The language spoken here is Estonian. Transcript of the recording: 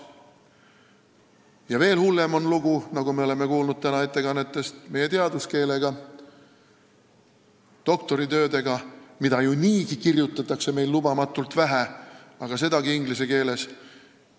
Ja veel hullem on lugu, nagu me täna ettekannetest kuulsime, meie teaduskeelega, doktoritöödega, mida niigi kirjutatakse lubamatult vähe, aga sedagi inglise keeles.